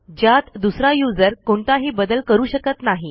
ज्यात दुसरा userकोणताही बदल करू शकत नाही